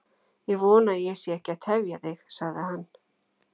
Ég vona að ég sé ekki að tefja þig, sagði hann.